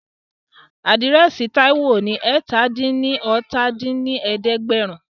Àdírẹ́sì Táíwò ní eétalá-dín-ní-ọ́ta dín ní ẹ̀ẹ́dẹ́gbẹ́rún